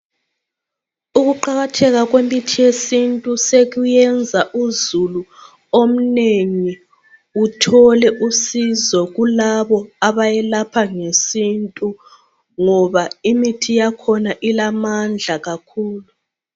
Ukuqakatheka kwemithi yesintu sekuyenza uzulu omnengi uthole usizo kulabo abayelapha ngesintu ngoba imithi yakhona ilamandla kakhulu.